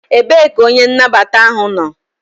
Ebee ka onye nnabata ahụ nọ?